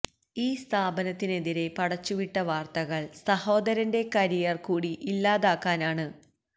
ഈ സ്ഥാപനത്തിനെതിരെ പടച്ചുവിട്ട വാര്ത്തകള് സഹോദരന്റെ കരിയര് കൂടി ഇല്ലാതാക്കാനാണ്